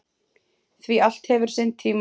Því allt hefur sinn tíma.